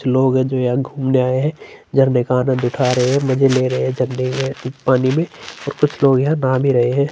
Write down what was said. कुछ लोग है जो यहाँ घूमने आए है झरने का आनंद उठा रहे है मजे ले रहे है झरने में पानी में और कुछ लोग यहाँ नहा भी रहे है।